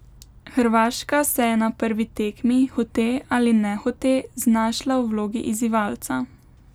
Hrvaška se je na prvi tekmi, hote ali nehote, znašla v vlogi izzivalca.